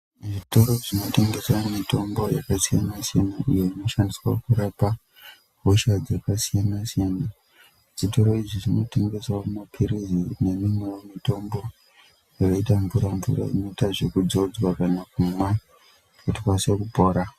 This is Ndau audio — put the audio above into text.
Zvitoro zvinotengesa mitombo yakasiyana iyo inoshandiswa kurapa hosha dzakasiyana siyana zvitoro izvi zvinotengeswa mapirizi neimweni mitombo inoita mvura mvura inoitawa zvekudzodzwa kana ikasire kupora.